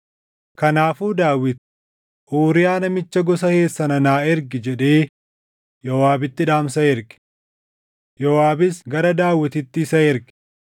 Kanaafuu Daawit, “Uuriyaa namicha gosa Heet sana naa ergi” jedhee Yooʼaabitti dhaamsa erge. Yooʼaabis gara Daawititti isa erge.